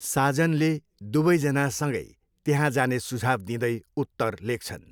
साजनले दुवैजना सँगै त्यहाँ जाने सुझाउ दिँदै उत्तर लेख्छन्।